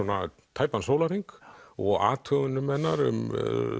tæpan sólarhring og athugunum hennar um